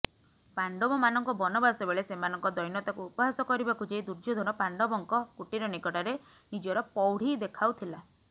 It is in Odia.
ପାଣ୍ଡବମାନଙ୍କ ବନବାସବେଳେ ସେମାନଙ୍କ ଦୈନତାକୁ ଉପହାସକରିବାକୁ ଯାଇ ଦୁର୍ଯ୍ୟୋଧନ ପାଣ୍ଡବଙ୍କ କୁଟୀର ନିକଟରେ ନିଜର ପ୍ରୌଢୀ ଦେଖାଉଥିଲା